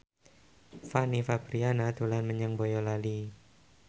Fanny Fabriana dolan menyang Boyolali